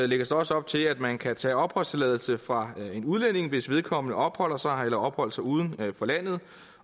lægges også op til at man kan tage en opholdstilladelse fra en udlænding hvis vedkommende opholder sig eller har opholdt sig uden for landet